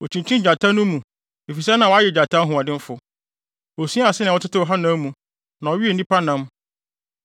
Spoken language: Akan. Okyinkyin gyata no mu efisɛ na wayɛ gyata hoɔdenfo. Osuaa sɛnea wɔtetew hanam mu na ɔwee nnipa nam.